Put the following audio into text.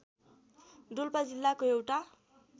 डोल्पा जिल्लाको एउटा